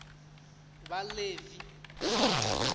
vhaḽevi